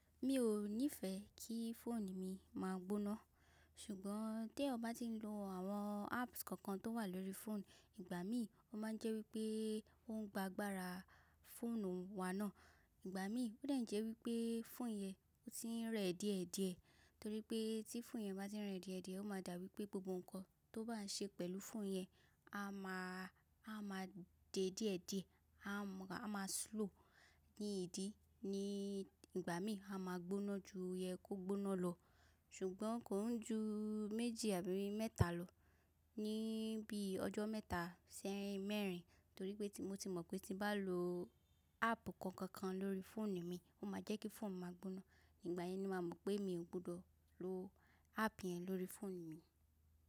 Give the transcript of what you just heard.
Mi ò nífẹẹ kí fóònù mi máa gbóná, ṣùgbọ́n tí eniyan bá tí ń lo àwọn apps kankan tó wà lórí fóònù, ìgbà mí ó má ń jẹ́ wí pé ó ń gba gbára fóònù wa náà. Ìgbà mí ó lè jẹ́ wí pé fóònù yẹn ó ti ń rẹ díẹ̀díẹ̀, torí pé tí fóònù yẹn bá ti ń rẹ díẹ̀díẹ̀, ó máa dà bí pé gbogbo nǹkan tó bá ń ṣe pẹ̀lú fóònù yẹn a máa, a máa di díẹ̀díẹ̀, a máa slow ní ìdí. Ní ìgbà mí a máa gbóná ju yẹ kó gbóná lọ, ṣùgbọ́n kò ń ju méjì àbí mẹ́ta lọ ní bí ọjọ́ mẹ́ta sí mẹ́rin. Torí pé mo ti mọ̀ pé tí n bá lo app kankan lórí fóònù mi, ó máa jẹ́ kí fóònù máa gbóná, ìgbà yẹn ni màá mọ̀ pé mi ò gbọdọ̀ lo app yẹn lórí fóònù mi.